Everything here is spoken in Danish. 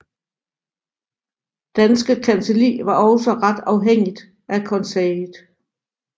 Danske Kancelli var også ret afhængigt af konseillet